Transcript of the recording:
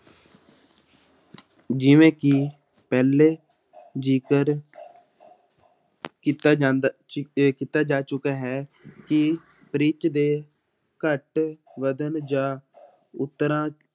ਜਿਵੇਂ ਕਿ ਪਹਿਲੇ ਜਿਕਰ ਕੀਤਾ ਜਾਂਦਾ ਸੀ ਤੇ ਕੀਤਾ ਜਾ ਚੁੱਕਾ ਹੈ ਕਿ ਪਿੱਚ ਦੇ ਘੱਟ ਵੱਧਣ ਜਾਂ ਉੱਤਰਾਅ